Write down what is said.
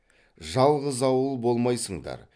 жалғыз ауыл болмайсыңдар